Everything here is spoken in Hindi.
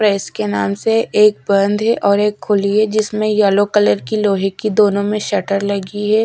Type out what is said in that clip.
प्रेस के नाम से एक बंद है और एक खुली है जिसमे येलो कलर की लोहे की दोनों में शटर लगी है।